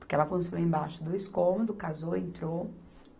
Porque ela construiu embaixo dois cômodos, casou, entrou.